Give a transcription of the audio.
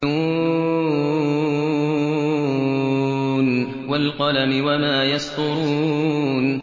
ن ۚ وَالْقَلَمِ وَمَا يَسْطُرُونَ